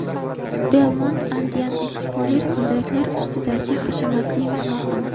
Belmond Andean Explorer g‘ildiraklar ustidagi hashamatli mehmonxona.